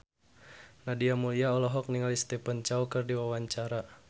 Nadia Mulya olohok ningali Stephen Chow keur diwawancara